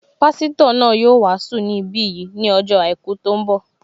Pásítọ̀ náà yóò wàásù ní bí yìí ní ọjọ́ àìkú tó ń bọ̀